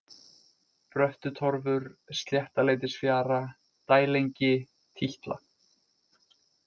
Bröttutorfur, Sléttaleitisfjara, Dælengi, Títla